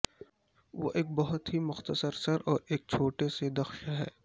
وہ ایک بہت ہی مختصر سر اور ایک چھوٹے سے دخش ہے